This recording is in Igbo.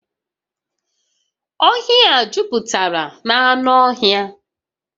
Ọhịa a juputara na anụ ọhịa